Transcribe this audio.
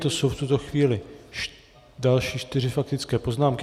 To jsou v tuto chvíli další čtyři faktické poznámky.